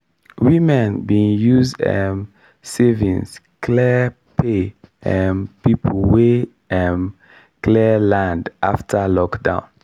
women bin use um savings clear pay um people wey um clear land after lockdown.